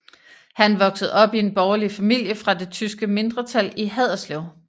Han voksede op i en borgerlig familie fra det tyske mindretal i Haderslev